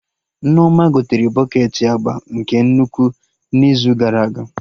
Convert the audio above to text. Nneoma gotere bọketị agba nke nnukwu n'izu gara aga